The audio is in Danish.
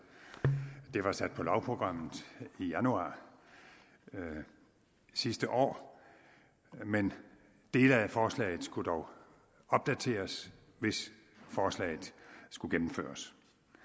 det var sat på lovprogrammet i januar sidste år men dele af forslaget skulle dog opdateres hvis forslaget skulle gennemføres